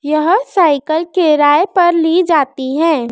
यह साइकल किराए पर ली जाती हैं।